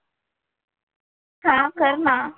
हां कर ना.